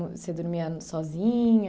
Você dormia sozinha?